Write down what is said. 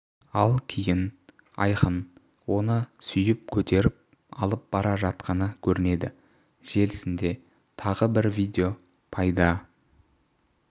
ал кейін айқын оны сүйіп көтеріп алып бара жатқаны көрінеді желісінде тағы бір видео пайда